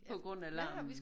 På grund af larmen?